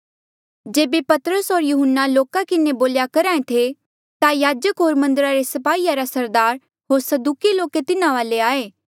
जेबे पतरस होर यहुन्ना लोका किन्हें ये बोल्या करहा ऐें थे ता याजक होर मन्दरा रे स्पाहीया रा सरदार होर सदूकी लोके तिन्हा वाले आये